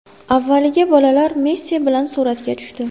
Avvaliga bolalar Messi bilan suratga tushdi.